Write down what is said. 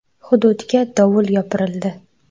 Hududga dovul yopirildi.